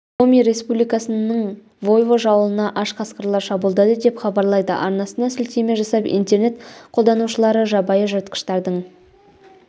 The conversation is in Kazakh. коми республикасының войвож ауылына аш қасқырлар шабуылдады деп хабарлайды арнасына сілтеме жасап интернет қолданушылары жабайы жыртқыштардың